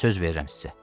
Söz verirəm sizə.